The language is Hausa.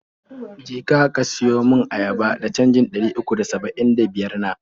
Je ka, ka siyo mun ayaba da canjin ɗari uku da saba'in da biyar na.